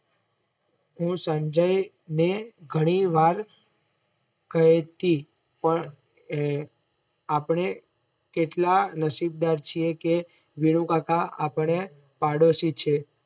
હું સંજય ને ઘણી વાર કેહતી પણ આપણે કેટલા નશીબદાર છીએ કે વિનુકાકા આપણા પાડોશી છે.